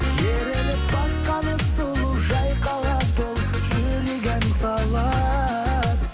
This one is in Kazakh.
еріліп басқаны сұлу жайқалады жүрек ән салады